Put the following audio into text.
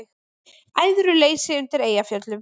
Æðruleysi undir Eyjafjöllum